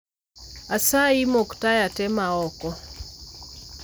Asayi, mok taya te ma oko.